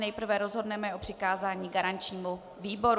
Nejprve rozhodneme o přikázání garančnímu výboru.